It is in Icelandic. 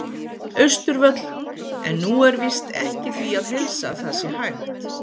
Austurvöll, en nú er víst ekki því að heilsa að það sé hægt.